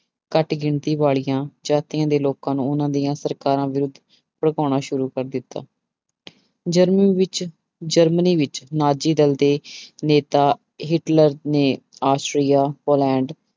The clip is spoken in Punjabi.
ਘੱਟ ਗਿਣਤੀ ਵਾਲੀਆਂ ਜਾਤੀਆਂ ਦੇ ਲੋਕਾਂ ਨੂੰ ਉਹਨਾਂ ਦੀਆਂ ਸਰਕਾਰਾਂ ਵਿਰੁੱਧ ਭੜਕਾਉਣਾ ਸ਼ੁਰੂ ਕਰ ਦਿੱਤਾ ਜ਼ਰਮਨ ਵਿੱਚ ਜ਼ਰਮਨੀ ਵਿੱਚ ਨਾਜ਼ੀਦਲ ਦੇ ਨੇਤਾ ਹਿਟਲਰ ਨੇ ਆਸਟਰੀਆ, ਪੋਲੈਂਡ